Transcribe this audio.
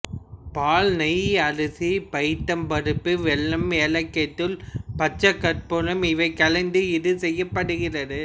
பால் நெய் அரிசி பயத்தம் பருப்பு வெல்லம் ஏலக்காய்த் தூள் பச்சைக் கற்பூரம் இவை கலந்து இது செய்யப்படுகிறது